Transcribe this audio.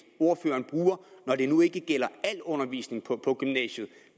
ordføreren bruger når det nu ikke gælder al undervisning på gymnasiet